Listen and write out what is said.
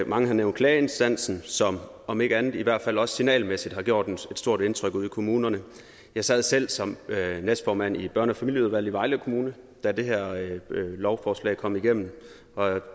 mange har nævnt klageinstansen som om ikke andet i hvert fald signalmæssigt har gjort et stort indtryk ude i kommunerne jeg sad selv som næstformand i børne og familieudvalget i vejle kommune da det her lovforslag kom igennem og